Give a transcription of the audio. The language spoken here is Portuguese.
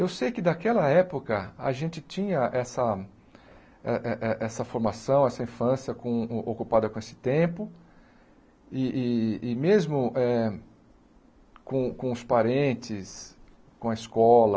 Eu sei que, daquela época, a gente tinha essa eh eh essa formação, essa infância com ocupada com esse tempo, e e e mesmo com com os parentes, com a escola,